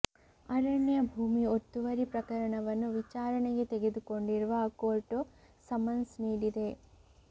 ಅರಣ್ಯ ಭೂಮಿ ಒತ್ತುವರಿ ಪ್ರಕರಣವನ್ನು ವಿಚಾರಣೆಗೆ ತೆಗೆದುಕೊಂಡಿರುವ ಕೋರ್ಟ್ ಸಮನ್ಸ್ ನೀಡಿದೆ